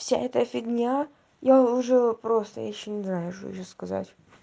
вся эта фигня я уже просто я ещё не знаю что ещё сказать